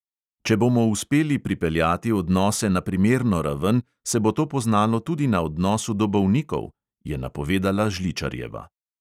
"Če bomo uspeli pripeljati odnose na primerno raven, se bo to poznalo tudi na odnosu do bolnikov," je napovedala žličarjeva.